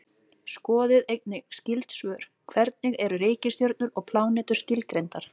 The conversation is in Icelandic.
Skoðið einnig skyld svör: Hvernig eru reikistjörnur og plánetur skilgreindar?